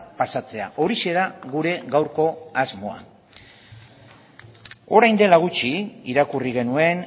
pasatzea horixe da gure gaurko asmoa orain dela gutxi irakurri genuen